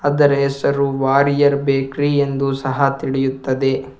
ಅದರ ಹೆಸರು ವಾರಿಯರ್ ಬೇಕರಿ ಎಂದು ಸಹ ತಿಳಿಯುತ್ತದೆ.